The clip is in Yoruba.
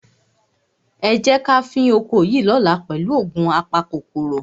Ẹ jẹ́ ká fín oko yìí lọ́la pẹ̀lú òògun apakòkòrò.